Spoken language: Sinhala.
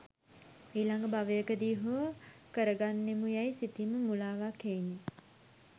ඊළඟ භවයකදී හෝ කරගන්නෙමු යැයි සිතීම මුළාවක් හෙයිනි.